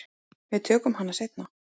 Við tökum hana seinna.